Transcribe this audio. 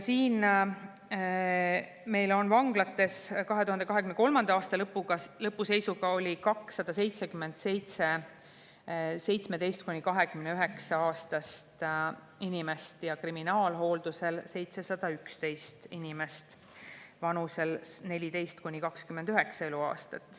Meil oli vanglates 2023. aasta lõpu seisuga 277 17- kuni 29-aastast inimest ja kriminaalhooldusel 711 inimest vanuses 14–29 eluaastat.